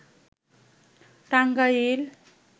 Tangail